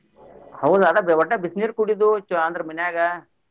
ಹೌದ್ ಅದ್ ಒಟ್ಟ ಬಿಸಿನೀರ್ ಕುಡಿದ್ಯು ಅಂದ್ರ ಮನ್ಯಾಗ.